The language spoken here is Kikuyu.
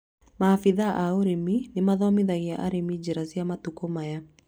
Maabithaa a ũrĩmi nĩ mathomithagia arĩmi njĩra cia matukũ maya